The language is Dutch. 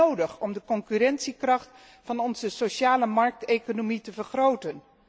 Dat is nodig om de concurrentiekracht van onze socialemarkteconomie te vergroten.